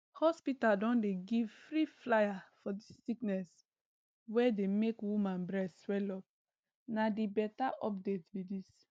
hospital don dey give free flyer for dis sickness wey dey make woman breast swellup na di beta update be dis